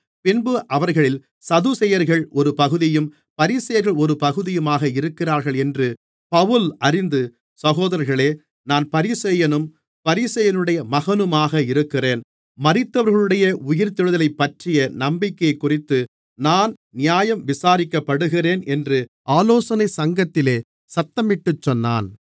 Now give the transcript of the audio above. பின்பு அவர்களில் சதுசேயர்கள் ஒரு பகுதியும் பரிசேயர்கள் ஒரு பகுதியுமாக இருக்கிறார்களென்று பவுல் அறிந்து சகோதரர்களே நான் பரிசேயனும் பரிசேயனுடைய மகனுமாக இருக்கிறேன் மரித்தவர்களுடைய உயிர்த்தெழுதலைப்பற்றிய நம்பிக்கையைக்குறித்து நான் நியாயம் விசாரிக்கப்படுகிறேன் என்று ஆலோசனைச் சங்கத்திலே சத்தமிட்டுச் சொன்னான்